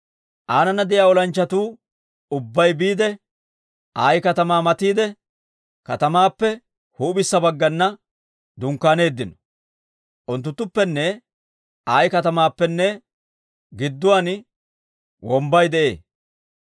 Aanana de'iyaa olanchchatuu ubbay biide, Ayi katamaa matiide katamaappe huup'issa baggana dunkkaaneeddino; unttunttuppenne Ayi katamaappenne gidduwaan wombbay de'ee.